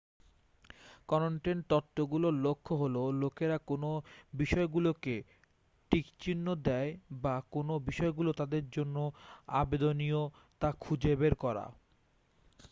content তত্ত্বগুলোর লক্ষ্য হলো লোকেরা কোন বিষয়গুলোতে টিক চিহ্ন দেয় বা কোন বিষয়গুলো তাদের জন্য আবেদনীয় তা খুঁজে বের করা